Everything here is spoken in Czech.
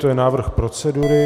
To je návrh procedury.